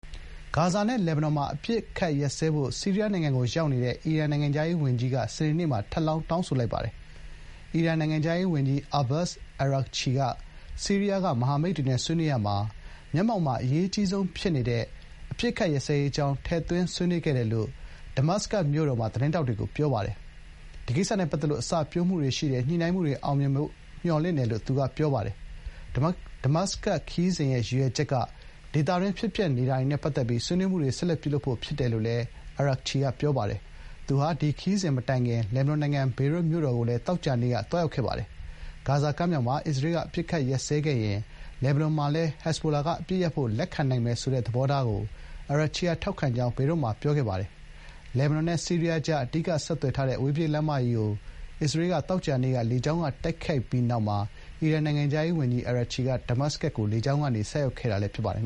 ဂါဇာနဲ့ လက်ဘနွန် မှာ အပစ်အခတ် ရပ်စဲဖို့ ဆီးရီးယား နိုင်ငံကို ရောက်နေတဲ့ အီရန် နိုင်ငံခြားရေးဝန်ကြီးက စနေနေ့မှာ ထပ်လောင်း တောင်းဆိုလိုက်ပါတယ်။ အီရန်နိုင်ငံခြားရေးဝန်ကြီး အာဘတ်စ် အာရာဂ်ချီ (Abbas Araghchi) က ဆီးရီးယားက မဟာမိတ်တွေ ဆွေးနွေးရာမှာ မျက်မှောက်မှာ အရေးကြီးဆုံး ဖြစ်နေတဲ့ အပစ်အခတ်ရပ်စဲရေး အကြောင်း ထည့်သွင်းဆွေးနွေးခဲ့တယ်လို့ ဒမတ်စကတ်မြို့တော်မှာ သတင်းထောက်တွေကို ပြောပါတယ်။ “ဒီကိစ္စနဲ့ ပတ်သက်လို့ အစပျိုးမှုတွေ ရှိတယ်၊ ညှိနှိုင်းမှုတွေ အောင်မြင်မယ်ဖို့ မျှော်လင့်တယ်” လို့ သူက ပြောပါတယ်။ “ဒမတ်စကတ် ခရီးစဉ်ရဲ့ ရည်ရွယ်ချက်က ဒေသတွင်း ဖြစ်ပျက်နေတာတွေနဲ့ ပတ်သက်ပြီး ဆွေးနွေးမှုတွေ ဆက်လက်ပြုလုပ်ဖို့ ဖြစ်ပါတယ်” လို့ အာရာဂ်ချီက ပြောပါတယ်။ သူဟာ ဒီခရီးစဉ်မတိုင်ခင် လက်ဘနွန်နိုင်ငံ ဘေရွတ်မြို့တော်ကိုလည်း သောကြာနေ့က သွားရောက်ခဲ့တာပါ။ ဂါဇာကမ်းမြောင်မှာ အစ္စရေးက အပစ်အခတ်ရပ်စဲခဲ့ရင် လက်ဘနွန်မှာလည်း ဟဇ်ဘိုလာက အပစ်ရပ်ဖို့ လက်ခံနိုင်မယ် ဆိုတဲ့ သဘောထားကို အာရာဂ်ချီက ထောက်ခံ ကြောင်း ဘေရွတ်မှာ ပြောကြားခဲ့ပါတယ်။ လက်ဘနွန်နဲ့ ဆီးရီးယားကြား အဓိက ဆက်သွယ် ထားတဲ့ အဝေးပြေး လမ်းမကြီး အစ္စရေးက သောကြာနေ့က လေကြောင်းတိုက်ခိုက်ပြီးနောက်မှာ အီရန် နိုင်ငံခြားရေးဝန်ကြီး အာရာဂ်ချီက ဒမတ်စကတ်ကို လေကြောင်းကနေ ဆိုက်ရောက်ခဲ့တာလည်း ဖြစ်ပါတယ်